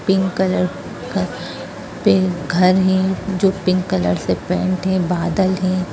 pink colour का घर है जो पिक कलर से पेंट है बदल है